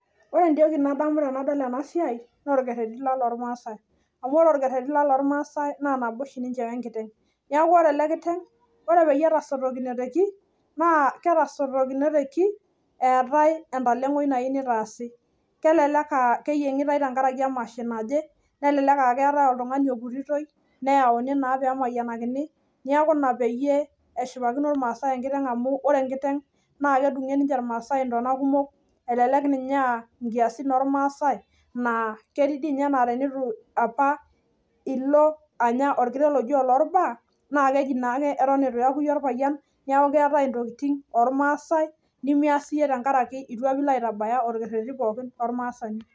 Ore entoki nalotu ndamunot ainei tenadol ena siai naa orkeretii loormaasae amu ore ele kitengela, naa ore peyie etasotote iltunganak naa entalengoi naatae, kelelek aaa keyiengitae tenkaraki emasho naje Ashu eetae oltungani oputitoi amu kedungie irmaasae enkiteng ntona kumok, kelelek ninye aaa nkiasin orkuak pee eitabari orkeretii loormaasae